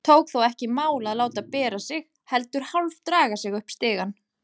Tók þó ekki í mál að láta bera sig, lét heldur hálfdraga sig upp stigann.